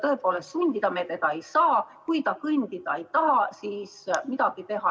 Tõepoolest, sundida me teda ei saa ja kui ta kõndida ei taha, siis ei ole midagi teha.